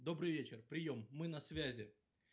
добрый вечер приём мы на связи